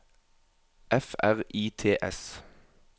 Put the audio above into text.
F R I T S